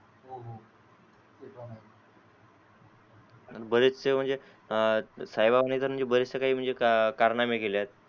बरेच से म्हणजे साई बाबांनी बरेच से म्हणजे कारनामे केले आहेत